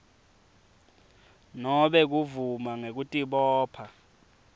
nobe kuvuma ngekutibopha